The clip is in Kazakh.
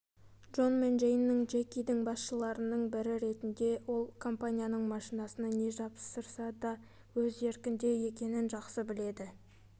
джон мен джейн джекидің басшыларының бірі ретінде ол компанияның машинасына не жапсырса да өз еркінде екенін жақсы біледі